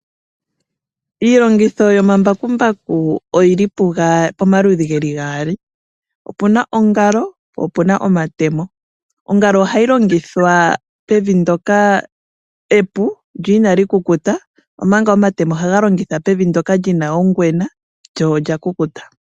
Iilongitho yomambakumbaku oyi li pomaludhi ge li gaali. Opu na ongalo, po opu naomatemo. Ongalo ohayi longithwa pevi ndyoka epu lyo inali kukuta, omanga omatemo ohaga longithwa pevi ndyoka li na ongwena lyo olya kukuta.